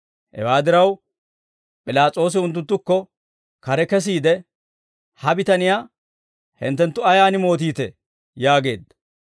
Hewaa diraw, P'ilaas'oosi unttunttukko kare kesiide, «Ha bitaniyaa hinttenttu ayaan mootiitee?» yaageedda.